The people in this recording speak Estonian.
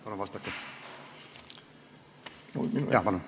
Palun vastake!